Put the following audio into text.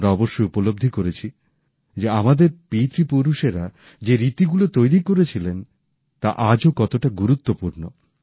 আমরা অবশ্যই উপলব্ধি করেছি যে আমাদের পিতৃপুরুষেরা যে রীতিগুলো তৈরী করেছিলেন তা আজও কতটা গুরুত্বপূর্ণ